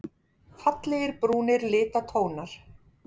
Fallegir brúnir litatónar.